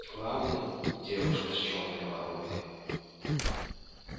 главный девушка с чёрной воронкой